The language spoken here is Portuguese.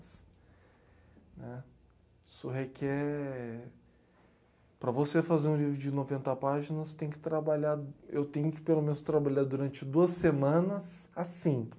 Né. Isso requer... Para você fazer um livro de noventa páginas, você tem que trabalhar... Eu tenho que, pelo menos, trabalhar durante duas semanas assim.